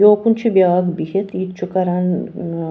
.یوکُن چھ بیٛاکھ بِہِتھ یِتہِ چُھ کران ن نا